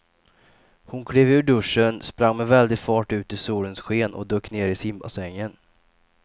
Hon klev ur duschen, sprang med väldig fart ut i solens sken och dök ner i simbassängen.